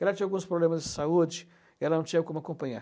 Ela tinha alguns problemas de saúde e não tinha como acompanhar.